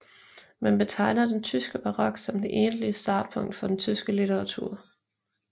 Man betegner den tyske barok som det egentlige startpunkt for den tyske litteratur